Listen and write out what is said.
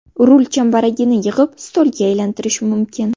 Rul chambaragini yig‘ib, stolga aylantirish mumkin.